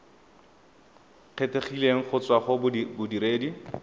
kgethegileng go tswa go bodiredi